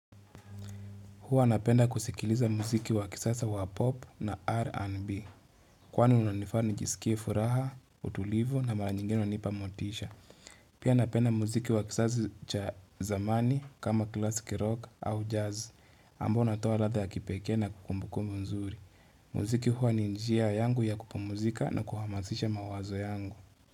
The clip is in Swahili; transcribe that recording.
Huwa napenda kusikiliza muziki wa kisasa wa pop na R an B Kwan unanifani nijisikie furaha, utulivu na mara nyingine unanipa motisha Pia napenda muziki wa kisaza cha zamani kama klasiki rock au jazz Ambo natowa latha ya kipekee na kumbuku mzuri muziki huwa ni njia yangu ya kupomuzika na kuhamazisha mawazo yangu.